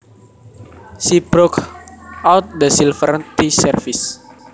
She brought out the silver tea service